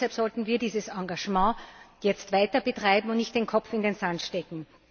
Deshalb sollten wir dieses Engagement jetzt weiter betreiben und nicht den Kopf in den Sand stecken.